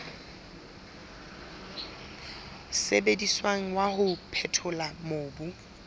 sebediswang wa ho phethola mobu